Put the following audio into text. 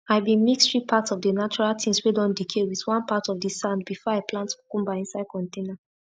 i been mix 3 parts of the natural things whey don decay with one part of the sand before i plant cucumber inside container